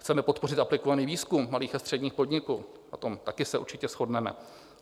"Chceme podpořit aplikovaný výzkum malých a středních podniků" - o tom také se určitě shodneme.